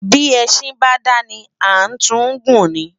Bi Esin ba dáni gúlè ã tun gun ni